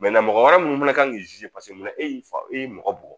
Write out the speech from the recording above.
mɔgɔ wɛrɛ minnu fɛnɛ kan k'i paseke mun na e y'i fa y'i mɔgɔ bugɔ